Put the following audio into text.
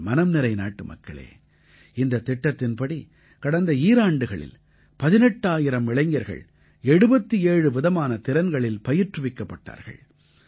என் மனம்நிறை நாட்டுமக்களே இந்தத் திட்டத்தின்படி கடந்த ஈராண்டுகளில் 18000 இளைஞர்கள் 77 விதமான திறன்களில் பயிற்றுவிக்கப்பட்டார்கள்